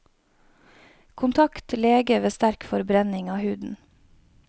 Kontakt lege ved sterk forbrenning av huden.